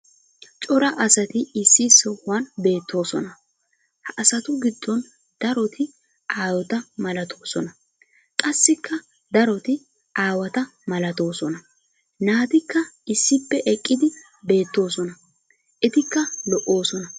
cora asati issi sohuwan beetoosona. ha asatu giddon daroti aayota malatoosona. qassikka darot aawata malatoosona. naatikka issippe eqqidi beetoosona. etikka lo'oosona.